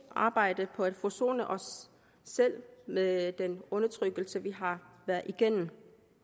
at arbejde for at forsone os selv med den undertrykkelse vi har været igennem